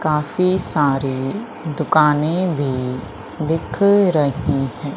काफी सारे दुकाने भी दिख रही है।